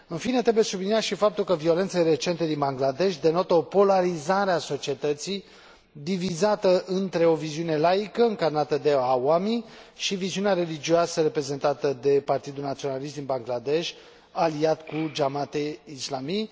În fine, trebuie subliniat și faptul că violențele recente din Bangladesh denotă o polarizare a societății, divizată între o viziune laică, încarnată de Awami și viziunea religioasă, reprezentată de Partidul Naționalist din Bangladesh, aliat cu Jamaat e Islami.